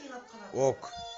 ок